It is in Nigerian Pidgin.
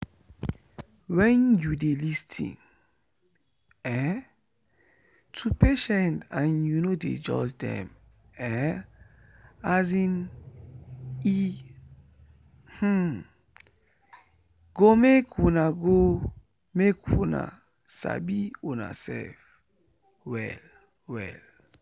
when you dey lis ten um to patient and you no dey judge them[um][um] e um go make una go make una sabi unasef well-well.